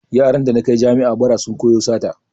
Yaran da na kai jami'a bara sun koyo sata